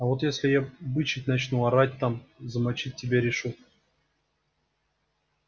а вот если я бычить начну орать там замочить тебя решу